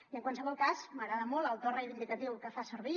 i en qualsevol cas m’agrada molt el to reivindicatiu que fa servir